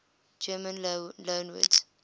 german loanwords